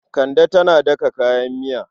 Kande tana daka kayan miya.